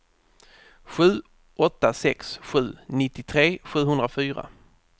sju åtta sex sju nittiotre sjuhundrafyra